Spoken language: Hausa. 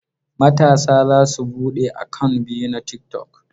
Matasa za su buɗe akant biyu na tiktok.